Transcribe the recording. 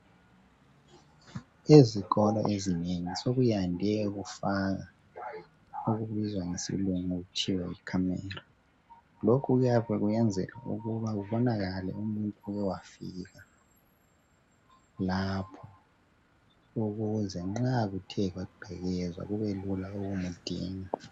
Ezikolo ezinengi, sokuyande ukufakwa okubizwa ngesilungu kuthiwa Yi camera. Lokhu kuyabe kuyenzelwa ukuthi kubonakale umuntu oyabe ethe wafika lapho .Ukuze nxa kuthe kwagqekezwa kubelula ukumdinga.